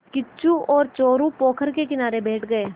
किच्चू और चोरु पोखर के किनारे बैठ गए